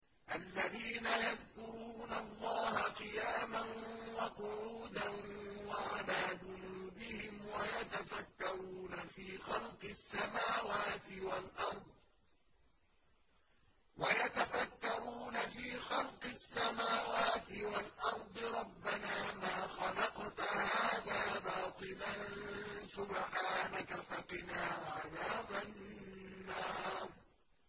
الَّذِينَ يَذْكُرُونَ اللَّهَ قِيَامًا وَقُعُودًا وَعَلَىٰ جُنُوبِهِمْ وَيَتَفَكَّرُونَ فِي خَلْقِ السَّمَاوَاتِ وَالْأَرْضِ رَبَّنَا مَا خَلَقْتَ هَٰذَا بَاطِلًا سُبْحَانَكَ فَقِنَا عَذَابَ النَّارِ